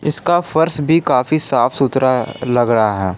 इसका फर्श भी काफी साफ सुथरा लग रहा है।